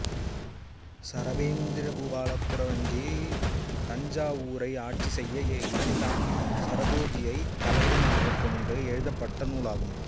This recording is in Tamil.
சரபேந்திர பூபாலக் குறவஞ்சி தஞ்சாவூரை ஆட்சி செய்த இரண்டாம் சரபோஜியைத் தலைவனாகக் கொண்டு எழுதப்பட்ட நூல் ஆகும்